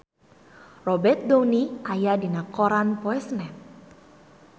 Robert Downey aya dina koran poe Senen